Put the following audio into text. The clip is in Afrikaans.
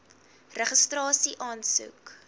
registrasieaansoek